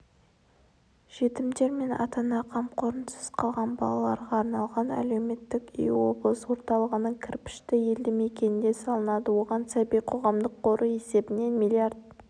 жетімдер мен ата-ана қамқорынсыз қалған балаларға арналған әлеуметтік үй облыс орталығының кірпішті елді мекенінде салынады оған сәби қоғамдық қоры есебінен млрд